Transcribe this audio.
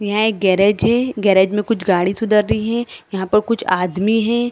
यहाँ एक गेराज है गेराज में कुछ गाड़ी सुधर रही है यहाँ पर कुछ आदमी है।